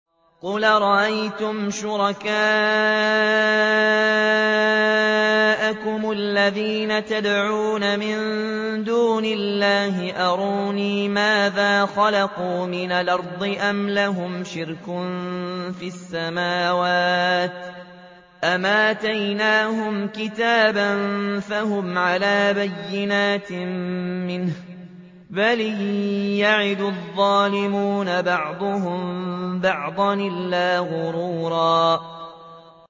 قُلْ أَرَأَيْتُمْ شُرَكَاءَكُمُ الَّذِينَ تَدْعُونَ مِن دُونِ اللَّهِ أَرُونِي مَاذَا خَلَقُوا مِنَ الْأَرْضِ أَمْ لَهُمْ شِرْكٌ فِي السَّمَاوَاتِ أَمْ آتَيْنَاهُمْ كِتَابًا فَهُمْ عَلَىٰ بَيِّنَتٍ مِّنْهُ ۚ بَلْ إِن يَعِدُ الظَّالِمُونَ بَعْضُهُم بَعْضًا إِلَّا غُرُورًا